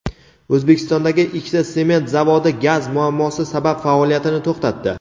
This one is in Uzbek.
O‘zbekistondagi ikkita sement zavodi gaz muammosi sabab faoliyatini to‘xtatdi.